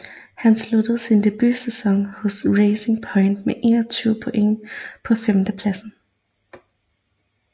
Han sluttede sin debutsæson hos Racing Point med 21 point på femtendepladsen